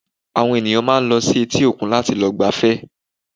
Àwọn ènìyàn máa ń lọ sí etí òkun láti lọ gbafẹ́